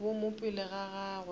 bo mo pele ga gagwe